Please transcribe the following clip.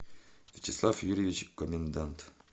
вячеслав юрьевич комендант